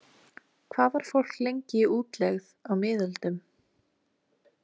Hvað var fólk lengi í útlegð á miðöldum?